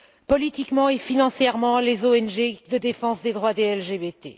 politiquement et financièrement les ONG de défense des personnes LGBT.